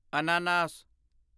ਅਨਾਨਾਸ